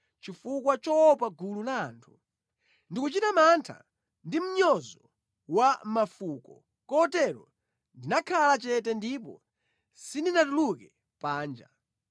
chifukwa choopa gulu la anthu, ndi kuchita mantha ndi mnyozo wa mafuko kotero ndinakhala chete ndipo sindinatuluke panja.